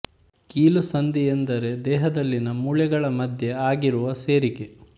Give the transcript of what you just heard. ಕೀಲು ಸಂಧಿ ಎಂದರೆ ದೇಹದಲ್ಲಿನ ಮೂಳೆಗಳ ಮಧ್ಯೆ ಆಗಿರುವ ಸೇರಿಕೆ